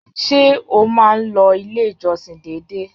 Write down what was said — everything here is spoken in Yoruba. Ṣé o máa n lọ ilé ìjọsìn dédé?